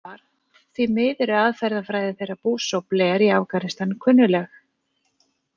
Svar: Því miður er aðferðafræði þeirra Bush og Blair í Afganistan kunnugleg.